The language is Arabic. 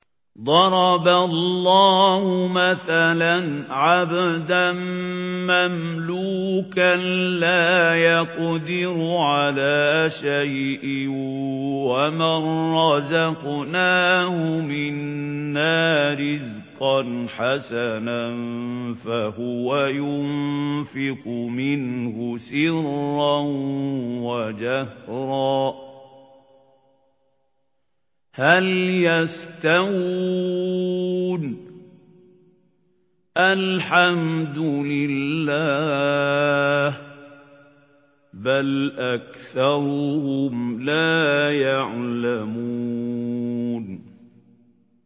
۞ ضَرَبَ اللَّهُ مَثَلًا عَبْدًا مَّمْلُوكًا لَّا يَقْدِرُ عَلَىٰ شَيْءٍ وَمَن رَّزَقْنَاهُ مِنَّا رِزْقًا حَسَنًا فَهُوَ يُنفِقُ مِنْهُ سِرًّا وَجَهْرًا ۖ هَلْ يَسْتَوُونَ ۚ الْحَمْدُ لِلَّهِ ۚ بَلْ أَكْثَرُهُمْ لَا يَعْلَمُونَ